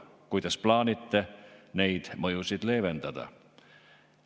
Kuidas plaanite neid mõjusid leevendada?